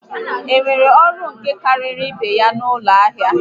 Enwere ọrụ nka karịrị ibé ya n'ọnụ ahịa?